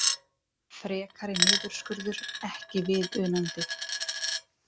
Frekari niðurskurður ekki viðunandi